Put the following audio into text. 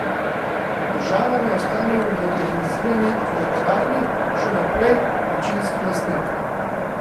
Država naj ostane v modernizirani elektrarni še naprej večinski lastnik.